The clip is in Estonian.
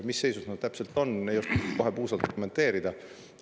Mis seis praegu täpselt on, ei oska kohe puusalt kommenteerida.